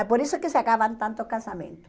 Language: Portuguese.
É por isso que se acabam tantos casamentos.